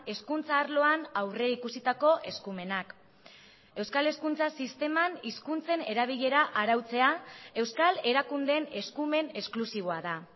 hezkuntza arloan aurrikusitako eskumenak euskal hezkuntza sisteman hizkuntzen erabilera arautzea euskal erakundeen eskumen esklusiboa da